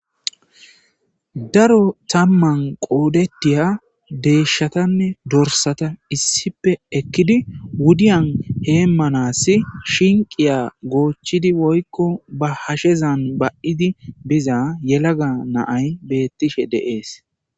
daro tamman qoodetiya deeshshatanne dorsata issipe ekkidi wudiyan heemmanassi shinqiya goochchidi woykko ba hashezan ba7idi biza yelaga naay beettishe deees